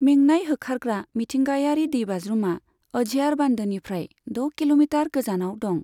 मेंनाय होखारग्रा मिथिंगायारि दैबाज्रुमा अझियार बान्दोनिफ्राय द' किल'मिटार गोजानाव दं।